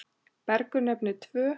Bergur nefnir tvö.